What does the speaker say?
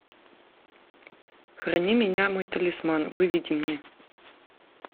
храни меня мой талисман выведи мне